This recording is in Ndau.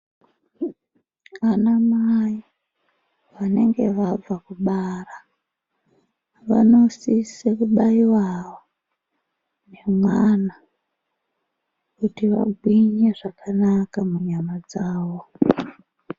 Ana mai vanenge vabva kubara vano sise ku baiwawo ne mwana kuti vagwinye zvakanaka mu nyama dzavo.